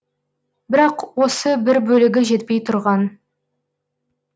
бірақ осы бір бөлігі жетпей тұрған